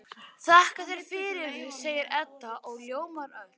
Þakka þér fyrir, segir Edda og ljómar öll.